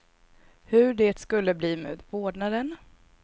Hur det skulle bli med vårdnaden.